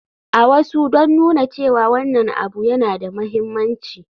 A wasu don nuna cewa wannan abu yana da mahimmanci.